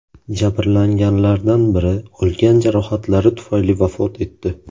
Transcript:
Jabrlanganlardan biri olgan jarohatlari tufayli vafot etdi.